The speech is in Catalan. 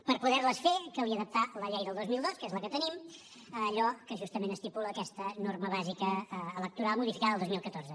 per poder les fer calia adaptar la llei del dos mil dos que és la que tenim allò que justament estipula aquesta norma bàsica electoral modificada el dos mil catorze